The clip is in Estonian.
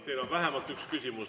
Teile on vähemalt üks küsimus.